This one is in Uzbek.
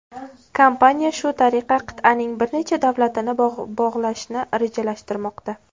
Kompaniya shu tariqa qit’aning bir necha davlatini bog‘lashni rejalashtirmoqda.